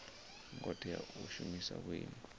ngo tea u shumisa vhuimo